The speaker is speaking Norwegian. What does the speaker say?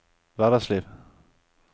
hverdagsliv